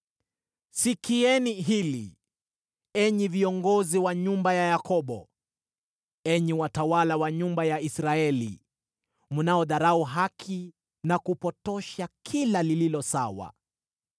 Sikieni hili, enyi viongozi wa nyumba ya Yakobo, enyi watawala wa nyumba ya Israeli, mnaodharau haki na kupotosha kila lililo sawa;